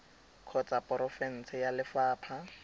kgotsa ya porofense ya lefapha